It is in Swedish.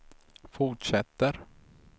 fortsätter